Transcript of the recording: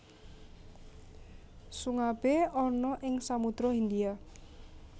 Sungabé ana ing Samodra Hindia